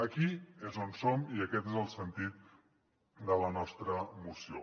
aquí és on som i aquest és el sentit de la nostra moció